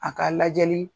A ka lajɛli